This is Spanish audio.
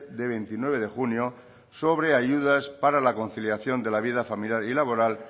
de veintinueve de junio sobre ayudas para la conciliación de la vida familiar y laboral